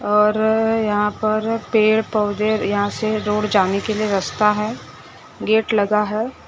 और यहां पर पेड़ पौधे यहां से रोड जाने के लिए रास्ता है गेट लगा है।